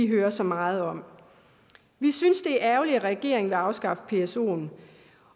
hører så meget om vi synes det er ærgerligt at regeringen vil afskaffe psoen